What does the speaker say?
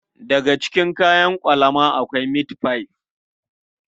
Daga cikin kayan ƙwalama akwai mitfai.